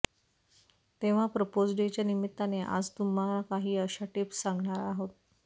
तेव्हा प्रपोज डेच्या निमित्ताने आज तुम्हा काही अशा टिप्स सांगणार आहोत